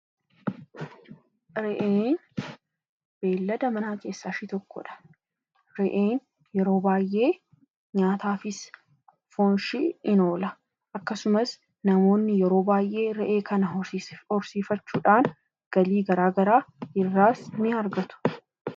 Re'een beeyilada manaa keessaa ishee tokkodha. Re'een yeroo baay'ee nyaataafis foonshee ni oola. Namoonni yeroo baay'ee re'ee kana horsiifachuudhaan galii garaagaraa irraas ni argatu.